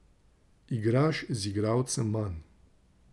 Igraš z igralcem manj.